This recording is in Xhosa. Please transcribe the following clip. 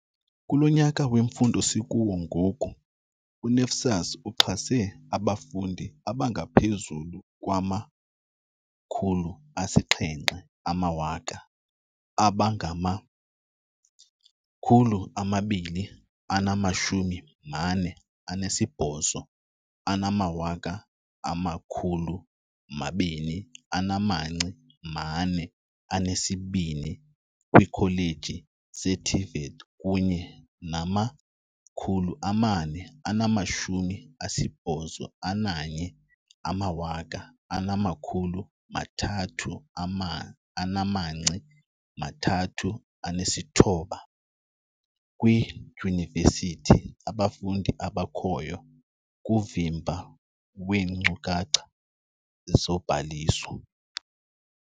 "Kulo nyaka wemfundo sikuwo ngoku, u-NSFAS uxhase abafundi abangaphezulu kwama-700 0000, abangama-248 242 kwiikholeji ze-TVET kunye nama-481 339 kwiidyunivesithi, abafundi abakhoyo kuvimba weenkcukacha zobhaliso."